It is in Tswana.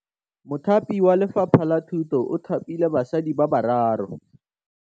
Mothapi wa Lefapha la Thutô o thapile basadi ba ba raro.